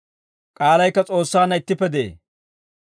I koyroppekka S'oossaanna de'ee.